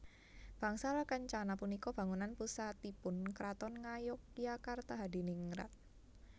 Bangsal Kencana punika bangunan pusatipun Kraton Ngayogyakarta Hadiningrat